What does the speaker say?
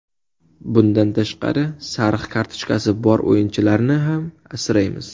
Bundan tashqari sariq kartochkasi bor o‘yinchilarni ham asraymiz.